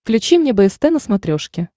включи мне бст на смотрешке